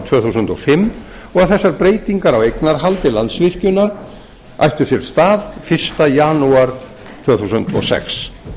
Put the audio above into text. tvö þúsund og fimm og þessar breytingar á eignarhaldi landsvirkjunar ættu sér stað fyrsta janúar tvö þúsund og sex